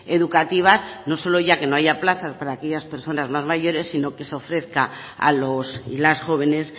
educativas no solo ya que no haya plazas para aquellas personas más mayores sino que se ofrezca a los y las jóvenes